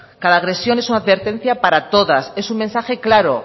cada agresión es una advertencia para todas es un mensaje claro